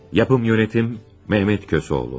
İstehsalat rəhbərliyi: Mehmet Kösoğlu.